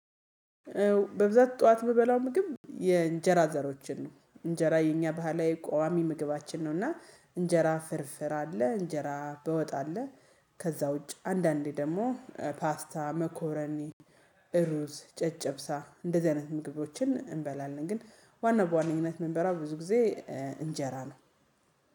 በብዛት ጥዋት የምበላው ምግብ የእንጀራ ዘሮችን ነው እንጀራ የኛ ባህላዊ ቋሚ ምግባችን ነው እና እንጀራ ፍርፍር አለ እንጀራ በወጥ አለ። ከዛ ውጪ አንዳንዴ ደግሞ ፓስታ መኮረኒ። ሩዝ ጨጨብሳ እንደዚህ አይነት ምግቦችን እንበላለን። ግን ዋና በዋነኝነት ምንበላው ብዙ ጊዜ እንጀራ ነው